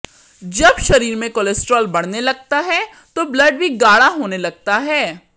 जब शरीर में कोलेस्ट्रॉल बढ़ने लगता है तो ब्लड़ भी गाढ़ा होने लगता है